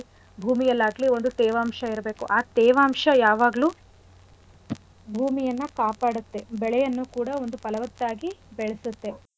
ಭೂಮಿಯಲ್ಲಾಗ್ಲಿ ಒಂದು ತೇವಾಂಶ ಇರ್ಬೇಕು ಆ ತೇವಾಂಶ ಯಾವಾಗ್ಲು ಭೂಮಿಯನ್ನ ಕಾಪಾಡತ್ತೆ ಬೆಳೆಯನ್ನು ಕೂಡ ಒಂದು ಫಲವತ್ತಾಗಿ ಬೆಳ್ಸತ್ತೆ.